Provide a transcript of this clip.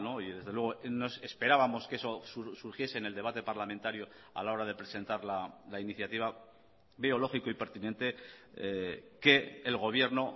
y desde luego nos esperábamos que eso surgiese en el debate parlamentario a la hora de presentar la iniciativa veo lógico y pertinente que el gobierno